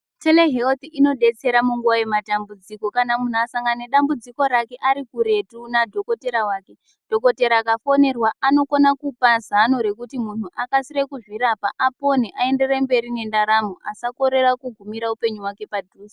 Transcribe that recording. " Tereheruthi inobetsera munguva yematambudziko kana munhu ekasangana nedambudzi rake arikuretu nadhokodhera wake dhokotera akafonerwa anokona kupa zano rekuti muntu akasire kuzvirapa apone ayendere mberi nendarambo asakorera kugumira upenyu hwake padhuze.